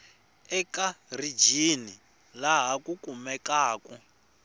eka rijini laha ku kumekaku